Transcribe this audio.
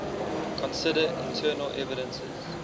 consider internal evidences